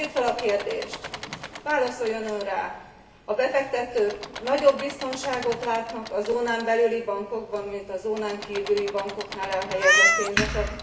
Tegyük fel a kérdést válaszoljon Ön rá a befektetők nagyobb biztonságot látnak a zónán belüli bankokban, mint a zónán kívüli bankokban elhelyezett pénz esetén?